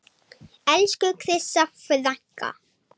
Elsku Krissa frænka.